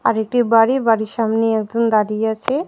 আরেকটি বাড়ি বাড়ির সামনে একজন দাঁড়িয়ে আছে.